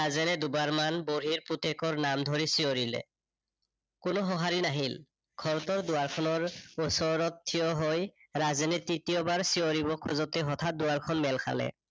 ৰাজেনে দুবাৰমান বুঢ়ীৰ পুতেকৰ নাম ধৰি চিঞৰিলে কোনো সঁহাৰি নাহিল। ঘৰটোৰ দুৱাৰখনৰ ওচৰত ঠিয় হয় ৰাজেনে তৃতীয়বাৰ চিঞৰিব খোজোতে হঠাত দুৱাৰখন মেল খালে।